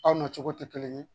Aw na cogo tɛ kelen ye